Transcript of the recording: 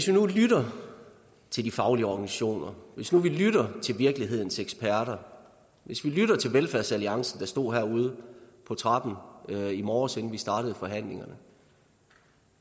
nu lytter til de faglige organisationer og til virkelighedens eksperter og velfærdsalliancen der stod herude på trappen i morges inden vi startede forhandlingerne